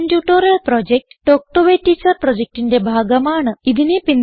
spoken tutorial project talk to a teacher പ്രൊജക്റ്റിന്റെ ഭാഗമാണ്